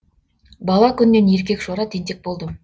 бала күннен еркекшора тентек болдым